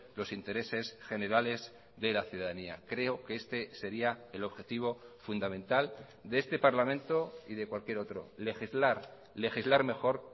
los intereses generales de la ciudadanía creo que este sería el objetivo fundamental de este parlamento y de cualquier otro legislar legislar mejor